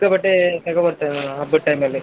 ಸಿಕ್ಕಾಬಟ್ಟೆ ತಗೋಬರ್ತಾನೆ ಅವ್ನು ಹಬ್ಬದ್ time ಅಲ್ಲಿ.